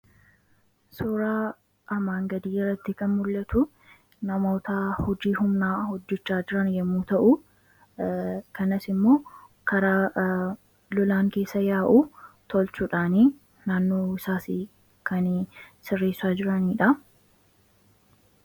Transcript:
Suuraa armaan gadiirratti kan mul'atu namoota hojii humnaa hojjachaa jiran yommuu ta'u kanas immoo karaa lolaan keessa yaa'u tolchuudhaan naannoo isaas kan sirreessaa jiranidha.